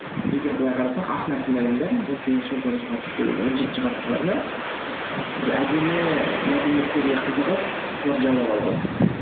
егер былай қарасақ ақ нәсілді адамдар он сегізінші он тоғыз он жетінші ғасырларда ы бір әдемі мәдениеттерге қызығып соларды жаулап алып алады